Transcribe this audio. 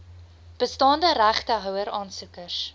bestaande regtehouer aansoekers